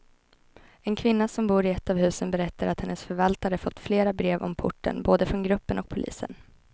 En kvinna som bor i ett av husen berättar att hennes förvaltare fått flera brev om porten, både från gruppen och polisen.